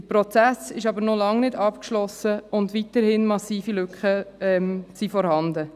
Der Prozess ist jedoch noch lange nicht abgeschlossen, und weiterhin sind massive Lücken vorhanden.